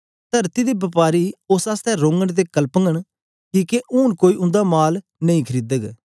तरती दे बपारी उस्स आसतै रोघंन ते कलपघंन किके हूंन कोई उंदा माल नेई खरीदग